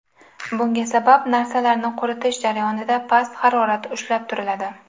Bunga sabab narsalarni quritish jarayonida past harorat ushlab turiladi.